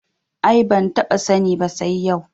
Ai ban taɓa sani ba sai yau